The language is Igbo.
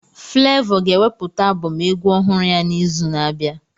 Flevọ ga-ewepụta abọm egwu ọhụrụ ya n'izu na-abịa.